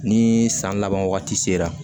Ni san laban wagati sera